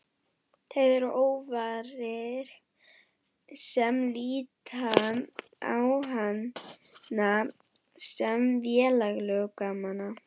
Þeir eru ófáir sem líta á hana sem velgjörðarmann.